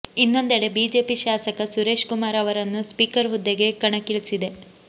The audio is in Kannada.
ಇನ್ನೊಂದೆಡೆ ಬಿಜೆಪಿ ಶಾಸಕ ಸುರೇಶ್ ಕುಮಾರ್ ಅವರನ್ನು ಸ್ಪೀಕರ್ ಹುದ್ದೆಗೆ ಕಣಕ್ಕಿಳಿಸಿದೆ